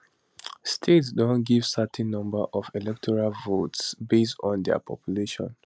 states don give certain number of electoral votes based on dia population